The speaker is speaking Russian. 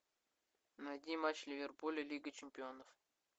найди матч ливерпуля лига чемпионов